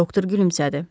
Doktor gülümsədi.